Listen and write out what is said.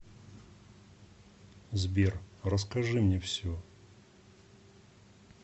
сбер расскажи мне все